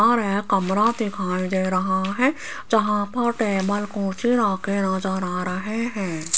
और यह एक कमरा दिखाई दे रहा है जहां पर टेबल कुर्सी रखे नजर आ रहे हैं।